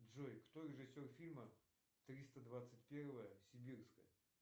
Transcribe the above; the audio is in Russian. джой кто режиссер фильма триста двадцать первая сибирская